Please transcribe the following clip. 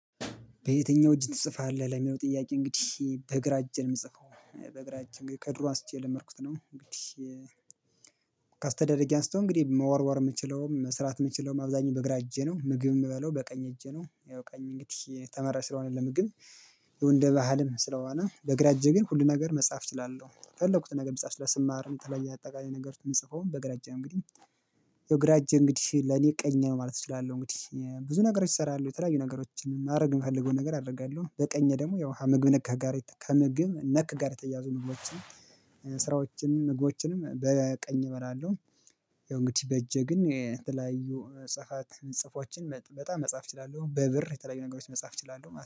በየትኛው እጅ ትጽፋለህ ለሚለው ጥያቄ? እንግዲህ በግራ እጄ የምጽፈው በግራ እጄ ከድሮ አንስቼ የለመድኩት ነው። እንግዲህ ከአስተዳደጌ አንስቶ እንግዲህ መወርወር የምችለውም መስራት የምችለውም አብዛኛው በግራ እጄ ነው ምግብ የምበላው በቀኝ እጄ ነው። ያው ቀኝ እንግዲህ የተመራጭ ስለሆነ ለምግብ ይሄው እንደ ባህልም ስለሆነ በግራ እጄ ግን ሁሉን ነገር መጻፍ እችላለሁ የፈለኩትን ነገር መጻፍ እችላለሁ። ስማርም የተለያየ አጠቃላይ ነገሮች ምጽፈውም በግራ እጄ ነው። እንግዲህ ያው ግራ እጄ እንግዲህ ለኔ ቀኝ ማለት እችላለሁ እንግዲህ እእ ብዙ ነገሮች እሰራለሁ የተለያዩ ነገሮችን ማድረግ የምፈልገው ነገር አደርጋለሁ። በቀኝ ደግሞ ያው ሀ ምግብ ነክ ከሀ ጋር ከምግብ ነክ ጋር የተያያዙ ምግቦችን እእ ስራዎችንም ምግቦችንም በቀኝ እበላለሁ። ያው እንግዲህ በእጄ ግን እእ የተለያዩ መጽሐፍት ጽፎችን በጣም መጻፍ እችላለሁ በብር የተለያዩ ነገሮች መጻፍ እችላለሁ ማ